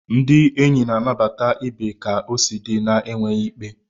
Ndị enyi na-anabata ibe ka o si di, na-enweghị ikpe.